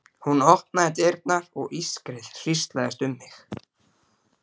Hún opnaði dyrnar og ískrið hríslaðist um mig.